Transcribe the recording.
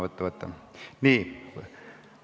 Nii, avan fraktsioonide esindajate läbirääkimised.